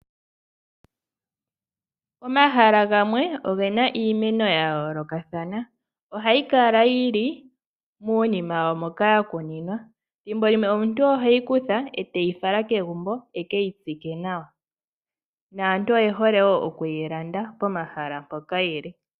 Omahala gamwe ogena iimeno yayoolokathana. Ohayi kala yili muunima wawo moka yakuninwa, thimbo limwe omuntu oheyi kutha eteyi fala kegumbo, ekeyi tsike nawa, naantu oyehole wo okuyi landa pomahala mpoka yili..